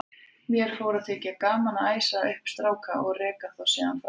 Mér fór að þykja gaman að æsa upp stráka og reka þá síðan frá mér.